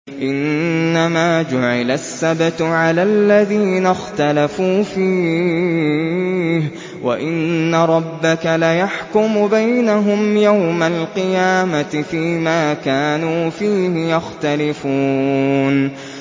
إِنَّمَا جُعِلَ السَّبْتُ عَلَى الَّذِينَ اخْتَلَفُوا فِيهِ ۚ وَإِنَّ رَبَّكَ لَيَحْكُمُ بَيْنَهُمْ يَوْمَ الْقِيَامَةِ فِيمَا كَانُوا فِيهِ يَخْتَلِفُونَ